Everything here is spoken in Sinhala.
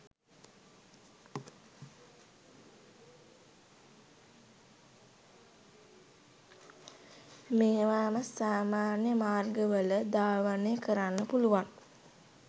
මේවාම සාමාන්‍ය මාර්ගවල් ධාවනය කරන්න පුලුවන්